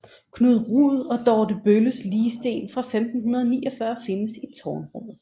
Knud Rud og Dorte Bølles ligsten fra 1549 findes i tårnrummet